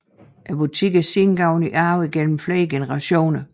Butikken er siden gået i arv igennem flere generationer